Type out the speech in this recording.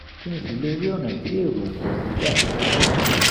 kí n sì lè rí ọ̀nà tí èrò ò pọ̀ sí gbà